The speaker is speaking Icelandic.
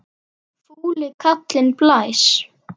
Fúli kallinn blæs.